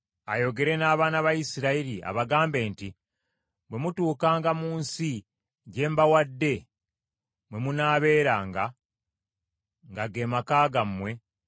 ayogere n’abaana ba Isirayiri abagambe nti, “Bwe mutuukanga mu nsi gye mbawadde, mwe munaabeeranga, nga ge maka gammwe,